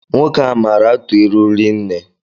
Nwoke a maara atụ ịlụ rinne